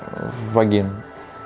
вогин